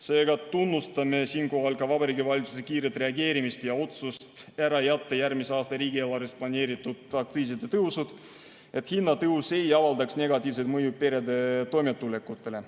Seega tunnustame siinkohal ka Vabariigi Valitsuse kiiret reageerimist ja otsust ära jätta järgmise aasta riigieelarves planeeritud aktsiiside tõusud, et hinnatõus ei avaldaks negatiivset mõju perede toimetulekule.